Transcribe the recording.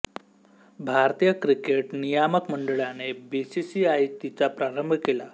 भारतीय क्रिकेट नियामक मंडळाने बीसीसीआय तिचा प्रारंभ केला